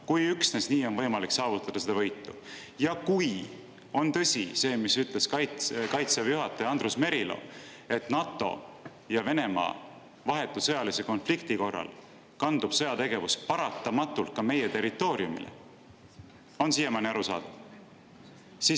–, kui üksnes nii on võimalik saavutada seda võitu ja kui on tõsi see, mida ütles Kaitseväe juhataja Andrus Merilo, et NATO ja Venemaa vahetu sõjalise konflikti korral kandub sõjategevus paratamatult ka meie territooriumile – kas siiamaani on arusaadav?